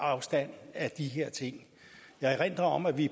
afstand af de her ting jeg erindrer om at vi